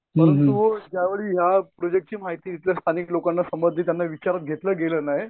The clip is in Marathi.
मग तो ज्यावेळी या प्रोजेक्टची माहिती इथल्या स्थानिक लोकांना समजली त्यांना विचारात घेतलं गेलं नाही.